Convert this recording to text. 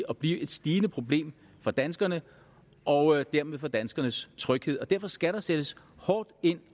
og blive et stigende problem for danskerne og dermed for danskernes tryghed derfor skal der sættes hårdt ind